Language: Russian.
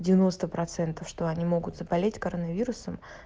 девяносто процентов что они могут заболеть коронавирусом